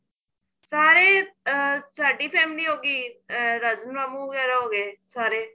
ਸਾਰੇ ਅਹ ਸਾਡੀ family ਹੋਗੀ ਅਹ ਰਾਜਨ ਮਾਮੂ ਵਗੈਰਾ ਹੋ ਗਏ ਸਾਰੇ